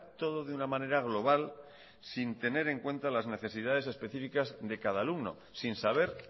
todo de una manera global sin tener en cuenta las necesidades específicas de cada alumno sin saber